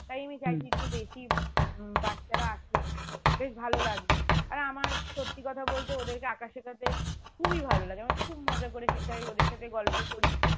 তাই আমি একটু বেশি উম বাচ্চারা আসলে বেশ ভালো লাগবে আর আমার সত্যি কথা বলতে ওদেরকে আঁকা শেখাতে খুবই ভালো লাগে আমার খুব খুব মজা করে শেখাই ওদের সাথে গল্প করি